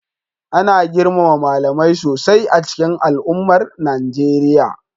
Ana girmama malamai sosai a cikin al'ummar Najeriya,